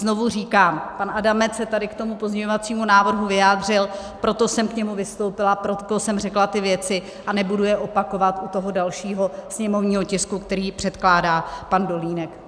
Znovu říkám, pan Adamec se tady k tomuto pozměňovacímu návrhu vyjádřil, proto jsem k němu vystoupila, proto jsem řekla ty věci, a nebudu je opakovat u toho dalšího sněmovního tisku, který předkládá pan Dolínek.